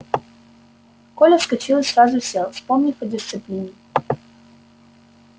коля вскочил и сразу сел вспомнив о дисциплине